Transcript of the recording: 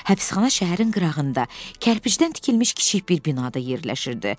Həbsxana şəhərin qırağında kərpicdən tikilmiş kiçik bir binada yerləşirdi.